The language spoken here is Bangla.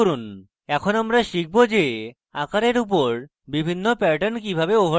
এরপর আমরা শিখব যে আকারের উপর বিভিন্ন প্যাটার্ন কিভাবে overlay করে